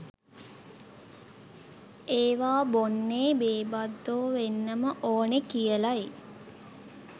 ඒවා බොන්නේ බේබද්දෝ වෙන්නම ඕනේ කියලයි